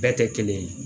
Bɛɛ tɛ kelen ye